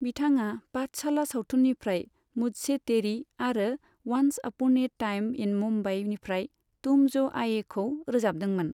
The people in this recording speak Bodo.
बिथाङा पाठशाला सावथुननिफ्राय मुझसे तेरी आरो once upon a time in Mumbai निफ्राय तुम जो आएखौ रोजाबदोंमोन।